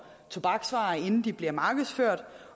tobaksvarer inden de bliver markedsført